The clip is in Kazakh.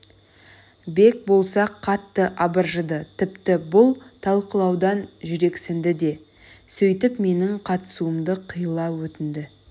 бек болса қатты абыржыды тіпті бұл талқылаудан жүрексінді де сөйтіп менің қатысуымды қиыла өтінді